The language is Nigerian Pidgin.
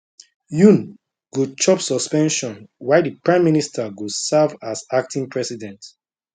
yoon go chop suspension while di prime minister go serve as acting president